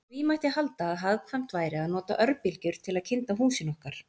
Því mætti halda að hagkvæmt væri að nota örbylgjur til að kynda húsin okkar.